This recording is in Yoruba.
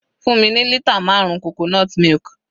Fún mi ní lítà marun coconut milk.